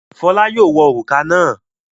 Fọlá yóò wọ òrùka náà.